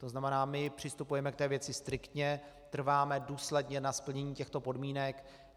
To znamená, my přistupujeme k té věci striktně, trváme důsledně na splnění těchto podmínek.